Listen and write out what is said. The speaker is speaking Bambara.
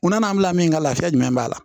Mun na n'an bila min ka lafiya jumɛn b'a la